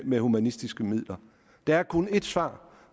med humanitære midler der er kun ét svar